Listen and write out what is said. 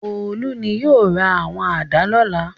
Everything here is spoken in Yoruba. Olú ni yóò ra àwọn àdá lọ́la.